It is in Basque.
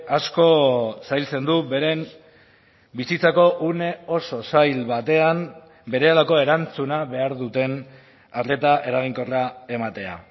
asko zailtzen du beren bizitzako une oso zail batean berehalako erantzuna behar duten arreta eraginkorra ematea